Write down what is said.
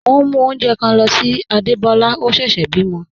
Mo n mú ọ̀unjẹ̣́ kan ló sí Ádébólá, ọ̀ sẹ́sè bímo.